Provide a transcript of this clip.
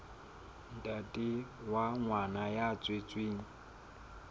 ntate wa ngwana ya tswetsweng